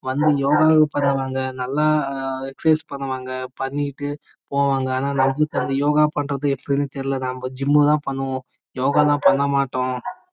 வந்து யோகா பண்ணுவாங்க நல்ல எஷெர்கிஸெ பண்ணுவாங்கபண்ணிட்டு போவாங்க ஆனா நம்மளுக்கு அந்த யோகா பண்றது எப்படினு தெரியல நம்ம ஜிம் தான் பண்ணுவோம் யோகா எல்லா பண்ணமாட்டோம்